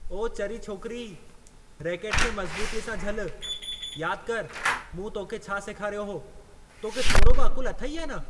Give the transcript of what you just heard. ओ चरी छोकिरी। रैकेट खे मज़बूतीअ सां झलु। यादि करि, मूं तोखे छा सेखारियो हो। तोखे थोरो बि अक़ुल अथई या न?